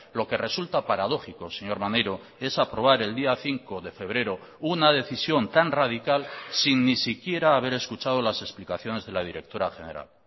lo que resulta paradójico señor maneiro es aprobar el día cinco de febrero una decisión tan radical sin ni siquiera haber escuchado las explicaciones de la directora general